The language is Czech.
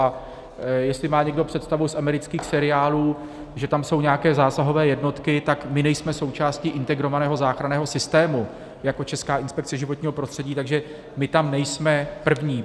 A jestli má někdo představu z amerických seriálů, že tam jsou nějaké zásahové jednotky, tak my nejsme součástí integrovaného záchranného systému jako Česká inspekce životního prostředí, takže my tam nejsme první.